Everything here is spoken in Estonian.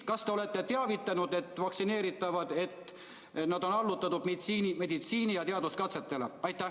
Kas te olete vaktsineeritavaid teavitanud, et nad on allutatud meditsiini- ja teaduskatsetele?